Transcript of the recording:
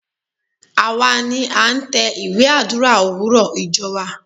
Àwa ni a tẹ ìwé Àdúrà òwúrọ̀ ìjọ wa.